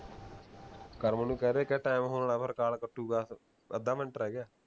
ਕਰਮ ਨੂੰ ਕਹਿ ਦੇ ਕਹਿ ਟੈਮ ਹੋਣ ਆਲਾ ਫੇਰ ਕਾਲ ਕੱਟੂਗਾ ਫੇਰ ਅੱਧਾ ਮਿੰਟ ਰਹਿ ਗਿਆ